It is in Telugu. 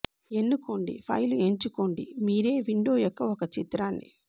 ఎన్నుకోండి ఫైలు ఎంచుకోండి మీరే విండో యొక్క ఒక చిత్రాన్ని